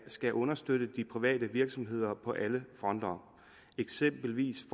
skal understøtte de private virksomheder på alle fronter eksempelvis